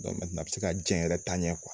Dɔn mɛntenan a be se ka jɛn yɛrɛ taa ɲɛ kuwa